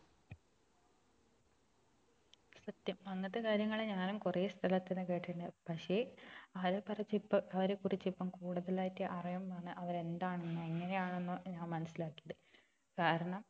സത്യം അങ്ങനത്തെ കാര്യങ്ങളെ ഞാനും കുറെ സ്ഥലത്തിന്ന് കേട്ടിട്ടുണ്ട് പക്ഷെ അവരെ കുറിച്ച് അവരെ കുറിച്ച് ഇപ്പൊ കൂടുതലായിട്ട് അറിയുമ്പോ ആണ് അവര് എന്താണെന്നോ എങ്ങനെയാണെന്നോ ഞാൻ മനസിലാക്കിയത് കാരണം